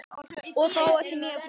Og þá ekki nýja frúin.